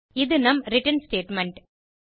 இது நம் return statement